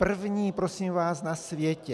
První, prosím vás, na světě!